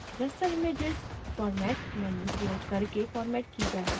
raster images format menu प्रयोग करके formatted की जा सकती हैं